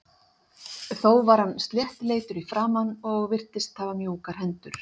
Þó var hann sléttleitur í framan og virtist hafa mjúkar hendur.